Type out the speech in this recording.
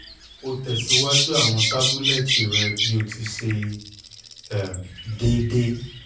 o tẹsiwaju awọn tabulẹti rẹ bi o ti ṣe um deede